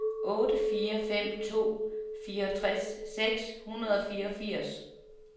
otte fire fem to fireogtres seks hundrede og fireogfirs